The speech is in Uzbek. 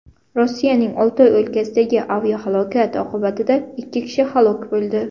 Rossiyaning Oltoy o‘lkasidagi aviahalokat oqibatida ikki kishi halok bo‘ldi.